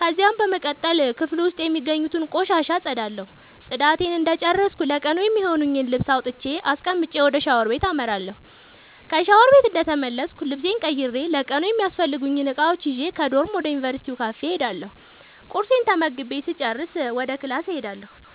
ከዚያም በመቀጠል ክፍሉ ዉስጥ የሚገኙትን ቆሻሻ አፀዳለሁ ፅዳቴን እንደጨረስኩ ለቀኑ የሚሆነኝን ልብስ አውጥቼ አስቀምጬ ወደ ሻወር ቤት አመራለሁ። ከሻወር ቤት እንደተመለስኩ ልብሴን ቀይሬ ለቀኑ የሚያስፈልጉኝን እቃዎች ይዤ ከዶርም ወደ ዩንቨርስቲው ካፌ እሄዳለሁ ቁርሴን ተመግቤ ስጨርስ ወደ ክላስ እሄዳለሁ።